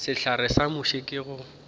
sehlare sa muši ke go